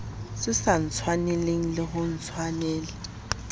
sa ntshwaneleng le ho ntshwanela